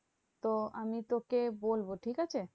তো আমি তোকে বলবো ঠিকাছে?